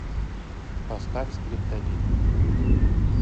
поставь скриптонит